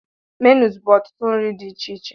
Menus bu ọtụtụ nri di ichiche.